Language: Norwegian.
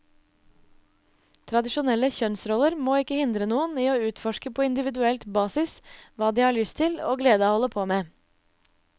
Tradisjonelle kjønnsroller må ikke hindre noen i å utforske på individuelt basis hva de har lyst til og glede av å holde på med.